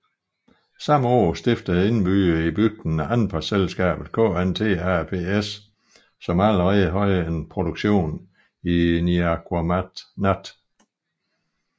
Samme år stiftede indbyggerne i bygden anpartselskabet KNT Aps som allerede har en produktion i Niaqornat